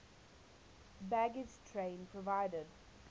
baggage train provided